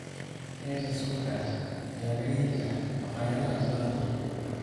Keega suufka ah ayaa laga heli karaa maqaayadaha badankood.